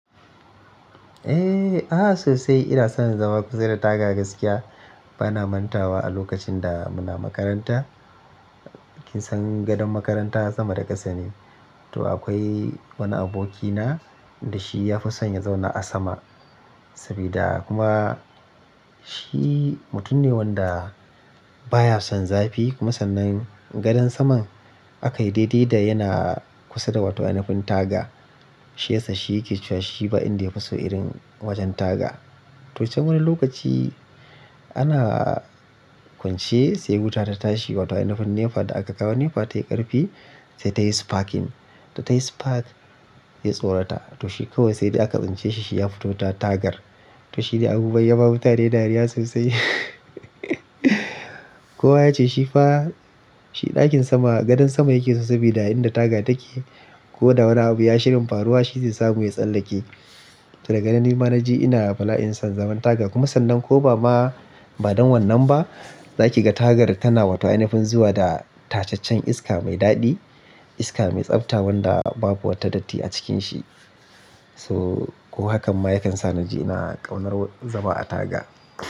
Eh, a'a sosai ina son zama kusa da taga gaskiya. Bana mantawa a lokacin da muna makaranta. Kinsan gadon makaranta sama da ƙasa ne. To akwai wani abokina da shi ya fi son ya zauna a sama sabida kuma shi mutum ne wanda baya son zafi kuma sannan gadon saman aka yi daidai da yana kusa da wata inafun taga. Shi yasa shi yake cewa shi ba inda ya fi so irin wajen taga. To sai wani lokaci ana kwance sai wuta ta tashi wata inafun nefa da aka kawo nefa tayi ƙarfi sai ta yi sparking. Da ta yi spark ya tsorata. To shi kawai sai da aka tsince shi, shi ya fito ta tagar. To shi ne abu ya ba mutane dariya sosai. Kowa ya ce shi fa shi ɗakin sama gadon sama yake sosai sabida inda taga take ko da wani abu ya shirin faruwa shi zai samu ya tsallake. To daga nan ni ma na ji ina bala'in son zaman taga kuma sannan ko ba ma ba don wannan ba za ki ga tagar tana wata inafun zuwa da tacaccen iska mai daɗi, iska mai tsabta wanda babu wata datti a cikin shi. So ko hakan ma ya kan sa na ji ina ƙaunar zama a taga.